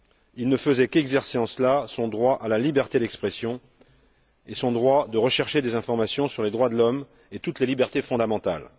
Il ne faisait qu'exercer en cela son droit à la liberté d'expression et son droit de rechercher des informations sur les droits de l'homme et toutes les libertés fondamentales.